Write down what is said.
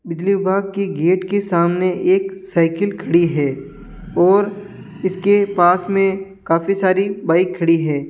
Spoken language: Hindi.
बिजली विभाग की गेट के सामने एक साइकिल खड़ी है और इसके पास में काफी सारी बाइक खड़ी है।